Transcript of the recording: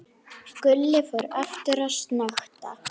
Gulli fór aftur að snökta.